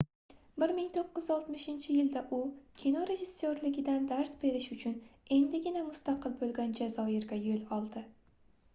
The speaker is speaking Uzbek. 1960-yilda u kino rejissyorligidan dars berish uchun endigina mustaqil boʻlgan jazoirga yoʻl oldi